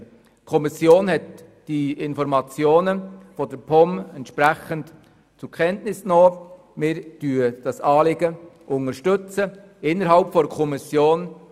Die Kommission hat die Informationen der POM zur Kenntnis genommen und unterstützt das Anliegen.